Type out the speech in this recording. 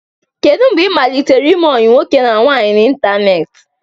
Kedu mgbe ị malitere ime ọyi nwoke na nwaanyị n'ịntanetị.